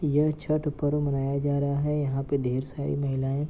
यह छठ पर्व मनाया जा रहा है यहाँ पे ढेर सारी महिलाएं --